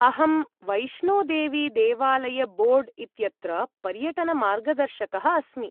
अहं वैष्णोदेवीदेवालयबोर्ड् इत्यत्र पर्यटनमार्गदर्शकः अस्मि।